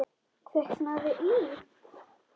Kviknað í.